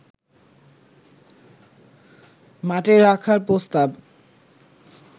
মাঠে রাখার প্রস্তাব